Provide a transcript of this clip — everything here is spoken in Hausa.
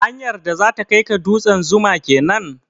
Hanyar da zata kai ka dutsen 'Zuma' kenan?